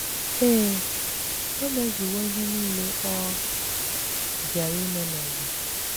Ee, o mezuwo ihe nile ọ bịara ime n’ụwa.